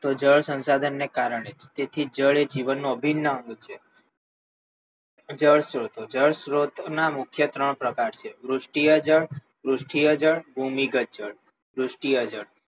તો જળ સંસાધનને કારણે તેથી જળ એ જીવનનો અભિન્ન અંગ છે જળ સ્ત્રોતો જળ સ્ત્રોતોના મુખ્ય ત્રણ પ્રકારો છે વૃષ્ટિએ જળ વૃષ્ટિએ જળ ભૂમિકા જળ વૃષ્ટિએ જળ